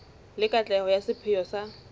le katleho ya sepheo sa